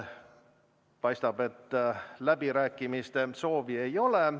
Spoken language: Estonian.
Paistab, et läbirääkimiste soovi ei ole.